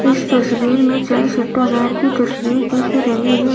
इस तस्वीर में चाय सुट्टा बार की तस्वीर दिख रही है।